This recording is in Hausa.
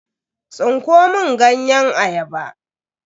Tsinko mun ganyen ayaba.